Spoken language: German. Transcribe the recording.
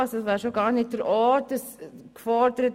Das wäre hier ja auch gar nicht der Ort dafür.